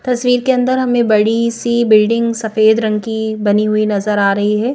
तस्वीर के अंदर हमें बड़ी सी बिल्डिंग सफेद रंग की बनी हुई नज़र आ रही है।